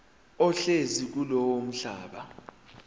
ohlezi kulowo mhlaba